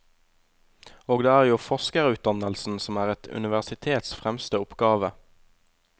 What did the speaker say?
Og det er jo forskerutdannelsen som er et universitets fremste oppgave.